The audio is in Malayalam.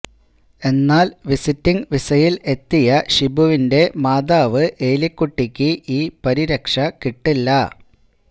എന്നാല് വിസിറ്റിംഗ് വീസയില് എത്തിയ ഷിബുവിന്റെ മാതാവ് ഏലിക്കുട്ടിക്ക് ഈ പരിരക്ഷ കിട്ടില്ല